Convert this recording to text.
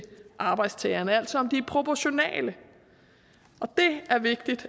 arbejdstagerne altså om de er proportionale og det er vigtigt